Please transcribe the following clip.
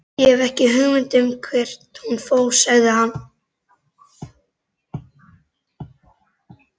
Ég hef ekki hugmynd um hvert hún fór, sagði hann.